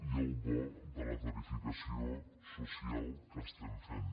i el bo de la tarifació social que estem fent